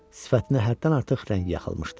Sifətinə həddən artıq rəng yaxılmışdı.